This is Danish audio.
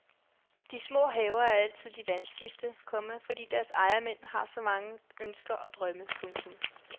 De små haver er altid de vanskeligste, komma fordi deres ejermænd har så mange ønsker og drømme. punktum